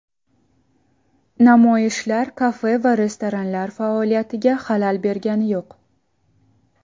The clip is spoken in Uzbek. Namoyishlar kafe va restoranlar faoliyatiga xalal bergani yo‘q.